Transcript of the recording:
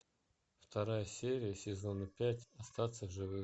вторая серия сезона пять остаться в живых